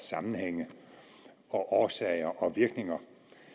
sammenhænge og årsager og virkninger